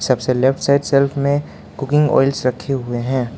सबसे left side shelf में cooking oils रखे हुए हैं।